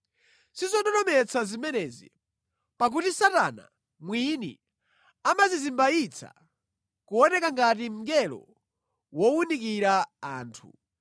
Sizododometsa zimenezi, pakuti Satana mwini amadzizimbayitsa kuoneka ngati mngelo wowunikira anthu.